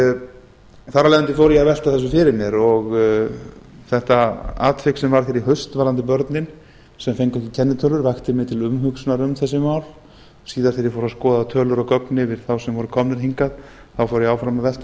leiðandi fór ég að velta þessu fyrir mér og þetta atvik sem varð hér í haust varðandi börnin sem fengu ekki kennitölur vakti mig til umhugsunar um þessi mál síðast þegar ég fór að skoða tölur og gögn yfir þá sem voru komnir hingað fór ég áfram að velta